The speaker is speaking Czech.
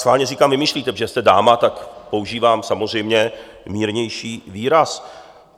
Schválně říkám vymýšlíte, protože jste dáma, tak používám samozřejmě mírnější výraz.